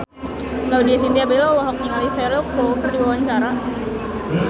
Laudya Chintya Bella olohok ningali Cheryl Crow keur diwawancara